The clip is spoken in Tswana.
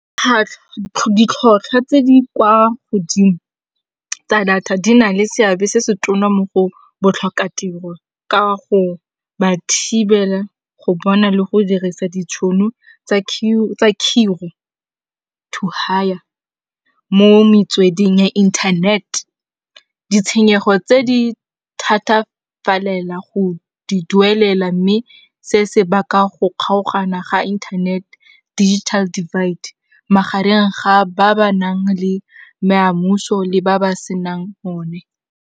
Ditlhotlhwa tse di kwa godimo tsa data di na le seabe se se tonna mo go botlhokatiro ka go ba thibela go bona le go dirisa ditšhono tsa mo metsweding ya internet. Ditshenyego tse di thatafalela go di duelela mme se se baka go kgaogana ga internet digital divide magareng ga ba ba nang le le ba ba senang one.